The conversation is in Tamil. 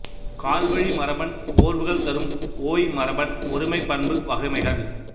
கால்வழி மரபன் ஓர்வுகள் தரும் ஒய் மரபன் ஒருமைப் பண்பு வகைமைகள்